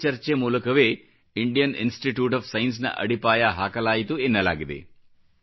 ಇದೇ ಚರ್ಚೆ ಮೂಲಕವೇ ಇಂಡಿಯನ್ ಇನ್ಸ್ಟಿಟ್ಯೂಟ್ ಆಫ್ ಸೈನ್ಸ್ ನ ಅಡಿಪಾಯ ಹಾಕಲಾಯಿತು ಎನ್ನಲಾಗಿದೆ